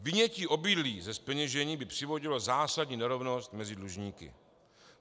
Vynětí obydlí ze zpeněžení by přivodilo zásadní nerovnost mezi dlužníky.